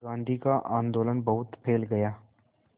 गांधी का आंदोलन बहुत फैल गया